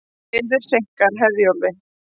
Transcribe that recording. Veður seinkar Herjólfi